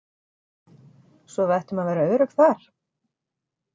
Svo við ættum að vera örugg þar?